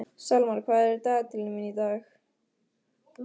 Salmar, hvað er í dagatalinu mínu í dag?